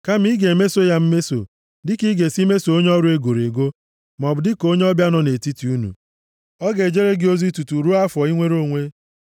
Kama ị ga-emeso ya mmeso dịka ị ga-esi meso onye ọrụ e goro ego, maọbụ dịka onye ọbịa nọ nʼetiti unu. Ọ ga-ejere gị ozi tutu ruo afọ inwere onwe.